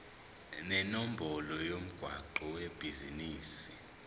nenombolo yomgwaqo webhizinisi